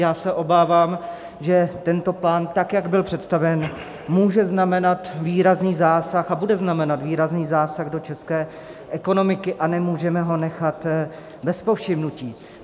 Já se obávám, že tento plán tak, jak byl představen, může znamenat výrazný zásah a bude znamenat výrazný zásah do české ekonomiky, a nemůžeme ho nechat bez povšimnutí.